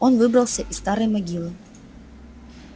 он выбрался из старой могилы